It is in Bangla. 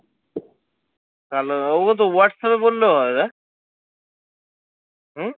কালা দা ওকে তো হোয়াটস আপ এ বললেও হয় না? হম